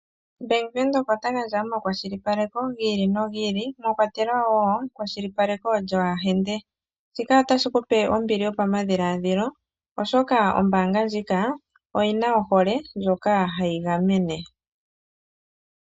Bank Windhoek ota gadja omakwashilipaleko gi ili nogi ili mwa kwatelwa wo ekwashilipaleko lyoohahende. Shika otashi kupe ombili yopamadhiladhilo oshoka ombaanga ndjika oyina ohole ndjoka hayi gamene.